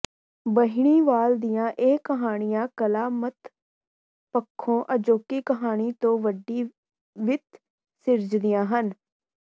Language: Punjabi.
ਬਹਿਣੀਵਾਲ ਦੀਆਂ ਇਹ ਕਹਾਣੀਆਂ ਕਲਾਤਮਕ ਪੱਖੋਂ ਅਜੋਕੀ ਕਹਾਣੀ ਤੋਂ ਵੱਡੀ ਵਿੱਥ ਸਿਰਜਦੀਆਂ ਹਨ